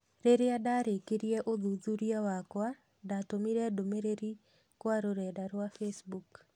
Rĩrĩa ndarĩkirie ũthuthuria wakwa, natũmire ndũmĩrĩri kwa rũrenda rwa Facebook